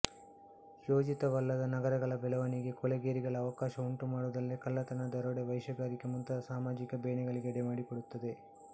ಯೋಜಿತವಲ್ಲದ ನಗರಗಳ ಬೆಳವಣಿಗೆ ಕೊಳೆಗೇರಿಗಳ ಅವಕಾಶ ಉಂಟು ಮಾಡುವುದಲ್ಲದೆ ಕಳ್ಳತನ ದರೋಡೆ ವೇಶ್ಯಾಗಾರಿಕೆ ಮುಂತಾದ ಸಾಮಾಜಿಕ ಬೇನೆಗಳಿಗೆ ಎಡೆಮಾಡಿಕೊಡುತ್ತದೆ